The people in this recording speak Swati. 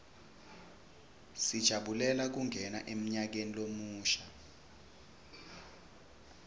sijabulela kungena emnyakeni lomusha